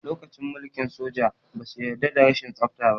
Lokacin mulkin soja, ba su yarda da rashin tsafta ba.